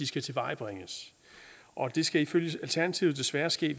skal tilvejebringes det skal ifølge alternativet desværre ske